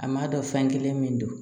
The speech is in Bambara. A m'a dɔn fɛn kelen min don